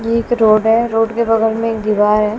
ये एक रोड है रोड के बगल में एक दीवार है।